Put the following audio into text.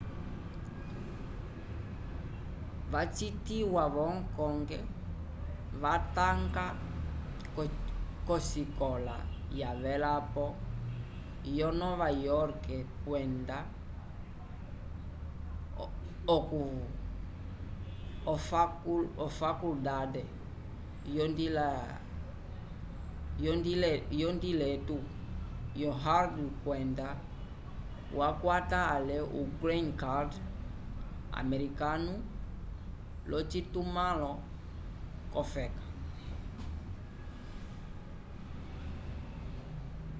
wacitiwa vo hong kong ma watanga k'osikola yavelapo yonova yorke kwenda ofakulndande yondiletu yo harvard kwenda yakwata ale o green card americano l'ocitumãlo k'ofeka